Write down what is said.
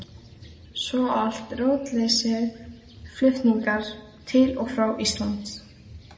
Svo allt rótleysið, flutningar til og frá Íslandi.